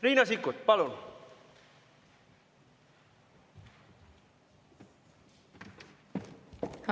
Riina Sikkut, palun!